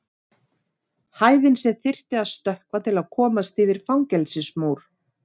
Hæðin sem þyrfti að stökkva til að komast yfir fangelsismúr.